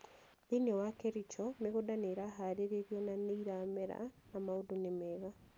Thĩinĩ wa Kericho, mĩgũnda nĩ ĩrarĩhaarĩrio na nĩ ĩrarĩmera na maũndũ nĩ mega.